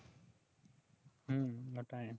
হম ওটাই